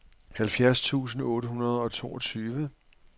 halvfjerds tusind otte hundrede og toogtyve